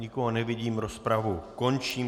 Nikoho nevidím, rozpravu končím.